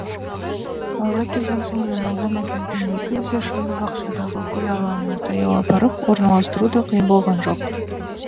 қалаға келген соң жайлаудан әкелген екі кесе шымды бақшадағы гүл алаңына таяу апарып орналастыру да қиын болған жоқ